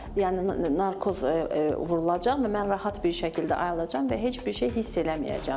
Yəni narkoz vurulacaq və mən rahat bir şəkildə ayılacam və heç bir şey hiss eləməyəcəm də.